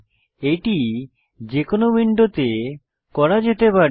এটি যে কোনো উইন্ডোতে করা যেতে পারে